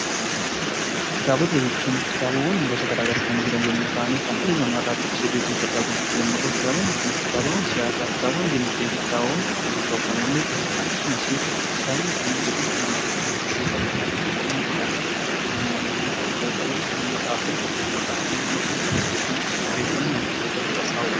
Kitaabota jechuun kitaabota gosa garaagaraa kan jiran yommuu ta'an kan dhalli namaa dubbisee beekumsa irraa gonfatu yommuu ta'an kitaabotni Kun kitaaba siyaasaa, dinagdee fi qulqulluu ta'uu malu. Akkasumas kitaabotni Kun beekumsa dhala namaa guddisuu keessatti gahee qabu. Matseetii jechuun immoo kan wanti tokko irratti galmaawu yeroo ta'u, gaazexaawwan jechuun immoo nama tokko yookiin dhaabbanni tokko odeeffannoo ol kaa'iidha